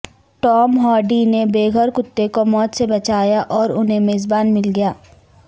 Tom Hardy نے بے گھر کتے کو موت سے بچایا اور انہیں میزبان مل گیا